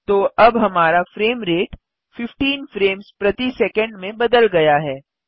तो अब हमारा फ्रेम रेट 15 फ्रेम्स प्रति सैकंड में बदल गया है